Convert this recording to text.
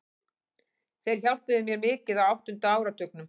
Þeir hjálpuðu mér mikið á áttunda áratugnum.